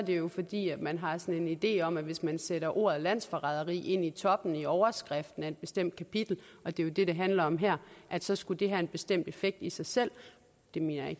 jo fordi man har sådan en idé om at hvis man sætter ordet landsforræderi ind i toppen i overskriften af et bestemt kapitel og det er jo det det handler om her så skulle det have en bestemt effekt i sig selv det mener jeg